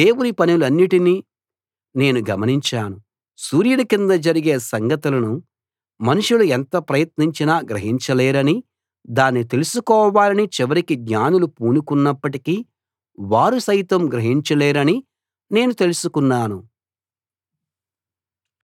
దేవుని పనులన్నిటినీ నేను గమనించాను సూర్యుని కింద జరిగే సంగతులను మనుషులు ఎంత ప్రయత్నించినా గ్రహించలేరనీ దాన్ని తెలుసుకోవాలని చివరికి జ్ఞానులు పూనుకున్నప్పటికీ వారు సైతం గ్రహించలేరనీ నేను తెలుసుకున్నాను